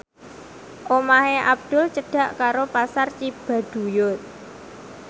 omahe Abdul cedhak karo Pasar Cibaduyut